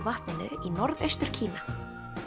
vatninu í Norðaustur Kína